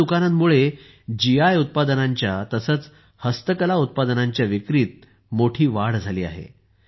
अशा दुकानांमुळे जीआय उत्पादनांच्या तसेच हस्तकला उत्पादनांच्या विक्रीत मोठी वाढ झाली आहे